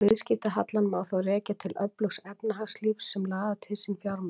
Viðskiptahallann má þá rekja til öflugs efnahagslífs sem laðar til sín fjármagn.